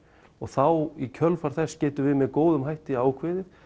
og þá í kjölfar þess getum við með góðum hætti ákveðið